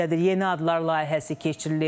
Yeni adlar layihəsi keçirilir.